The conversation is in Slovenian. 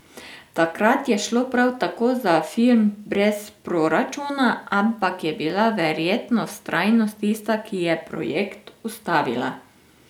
Takrat je šlo prav tako za film brez proračuna, ampak je bila verjetno vztrajnost tista, ki je projekt ustavila.